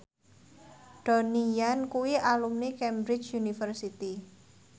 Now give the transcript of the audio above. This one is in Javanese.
Donnie Yan kuwi alumni Cambridge University